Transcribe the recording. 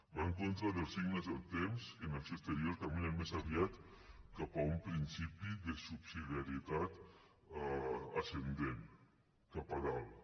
va en contra dels signes del temps que en acció exterior caminen més aviat cap a un principi de subsidiarietat ascendent cap a dalt